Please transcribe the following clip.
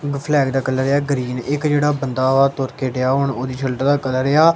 flag ਦਾ colour ਆ green ਇੱਕ ਜਿਹੜਾ ਬੰਦਾ ਤੁਰ ਕੇ ਡਿਆ ਉਹਦੀ ਸਲਟ ਦਾ ਕਲਰ ਆ--